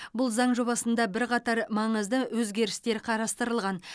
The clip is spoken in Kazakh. бұл заң жобасында бірқатар маңызды өзгерістер қарастырылған